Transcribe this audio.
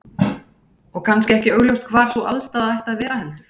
Og kannski ekki augljóst hvar sú aðstaða ætti að vera heldur?